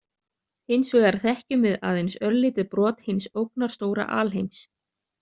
Hins vegar þekkjum við aðeins örlítið brot hins ógnarstóra alheims.